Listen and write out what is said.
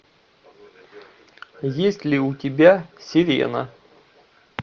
есть ли у тебя сирена